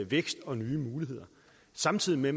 vækst og nye muligheder samtidig med